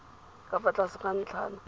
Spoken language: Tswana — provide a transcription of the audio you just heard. ka fa tlase ga ntlhana